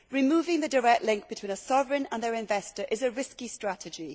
Removing the direct link between a sovereign and its investor is a risky strategy.